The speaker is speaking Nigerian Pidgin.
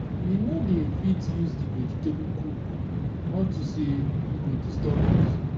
we no dey fit use dis vegetable cook unto say e go disturb us